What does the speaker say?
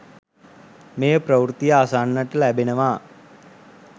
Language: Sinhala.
මේ ප්‍රවෘත්තිය අසන්නට ලැබෙනවා.